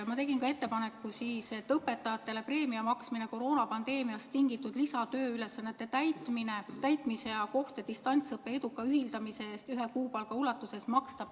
Ma tegin ettepaneku maksta õpetajatele koroonapandeemiast tingitud lisatööülesannete täitmise ja distantsõppe eduka ühildamise eest ühe kuupalga ulatuses preemiat.